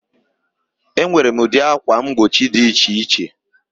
Enwere ụdị ákwà mgbochi dị iche iche na ahịa.